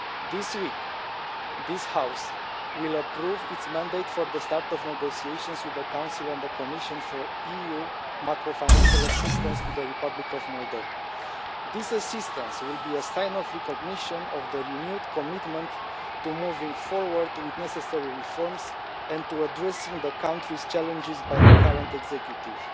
This week, this House will approve its mandate for the start of negotiations with the Council and the Commission for EU macro financial assistance to the Republic of Moldova. This assistance will be a sign of recognition of the renewed commitment to moving forward with necessary reforms and to addressing the country's challenges by the current executive.